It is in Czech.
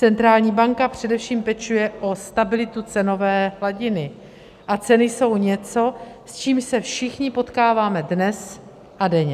Centrální banka především pečuje o stabilitu cenové hladiny a ceny jsou něco, s čím se všichni potkáváme dnes a denně.